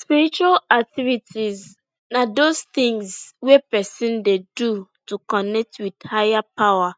Spiritual activities na dos tins wey pesin dey do to connect wit higher power